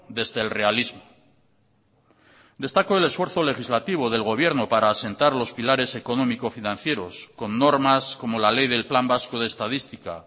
desde el realismo destaco el esfuerzo legislativo del gobierno para asentar los pilares económico financieros con normas como la ley del plan vasco de estadística